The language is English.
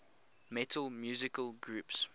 metal musical groups